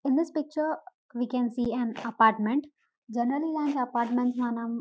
in this picture we can see an apartment generally ఈ apartment మనం --